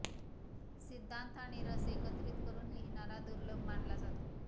सिद्धान्त आणि रस एकत्रित करून लिहिणारा दुर्लभ मानला जातो